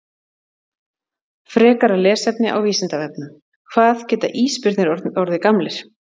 Frekara lesefni á Vísindavefnum: Hvað geta ísbirnir orðið gamlir?